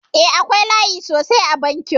Eh, akwai layi sosai a bankin.